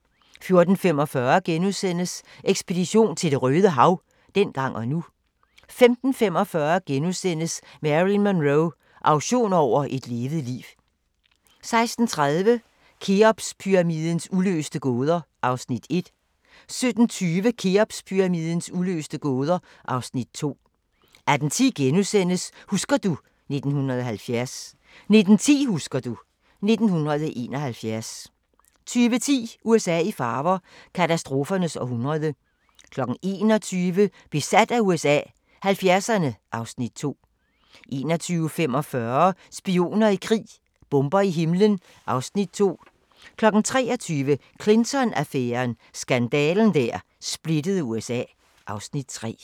14:45: Ekspedition til Det Røde Hav – dengang og nu * 15:45: Marilyn Monroe – auktion over et levet liv * 16:30: Kheopspyramidens uløste gåder (Afs. 1) 17:20: Kheopspyramidens uløste gåder (Afs. 2) 18:10: Husker du ... 1970 * 19:10: Husker du ... 1971 20:10: USA i farver – katastrofernes århundrede 21:00: Besat af USA – 70'erne (Afs. 2) 21:45: Spioner i krig: Bomber i himlen (Afs. 2) 23:00: Clinton-affæren: Skandalen der splittede USA (Afs. 3)